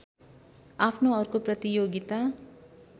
आफ्नो अर्को प्रतियोगिता